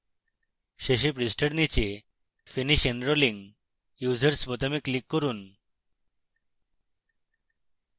শেষে পৃষ্ঠার নীচে finish enrolling users বোতামে লিক করুন